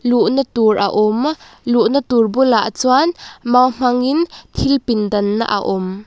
luhna tur a awm luhna tur bulah chuan mau hmangin thil pindan na a awm.